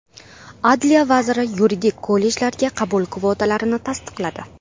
Adliya vaziri yuridik kollejlarga qabul kvotalarini tasdiqladi.